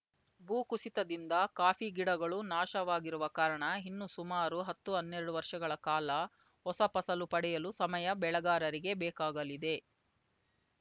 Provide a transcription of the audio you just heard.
ಭೂ ಕುಸಿತದಿಂದ ಕಾಫಿ ಗಿಡಗಳು ನಾಶವಾಗಿರುವ ಕಾರಣ ಇನ್ನು ಸುಮಾರು ಹತ್ತುಹನ್ನೆರಡು ವರ್ಷಗಳ ಕಾಲ ಹೊಸ ಫಸಲು ಪಡೆಯಲು ಸಮಯ ಬೆಳೆಗಾರರಿಗೆ ಬೇಕಾಗಲಿದೆ